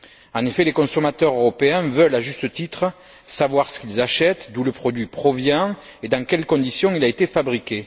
En effet, les consommateurs européens veulent, à juste titre, savoir ce qu'ils achètent, d'où le produit provient et dans quelles conditions il a été fabriqué.